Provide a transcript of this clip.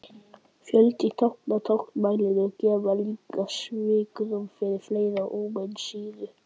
Fjöldi tákna í táknmálinu gæfi líka svigrúm fyrir fleiri amínósýrur.